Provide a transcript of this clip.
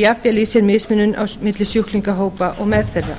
jafnvel í sér mismunun milli sjúklingahópa og meðferða